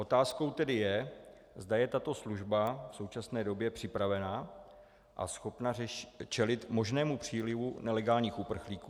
Otázkou tedy je, zda je tato služba v současné době připravena a schopna čelit možnému přílivu nelegálních uprchlíků.